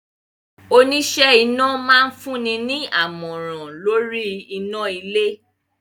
Oníṣẹ́ iná máa fún ni ní àmọ̀rà lóríi iná ilé.